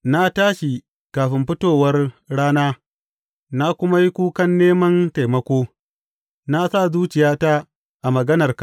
Na tashi kafin fitowar rana na kuma yi kukan neman taimako; na sa zuciyata a maganarka.